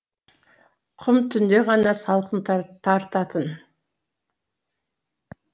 құм түнде ғана салқын тартатын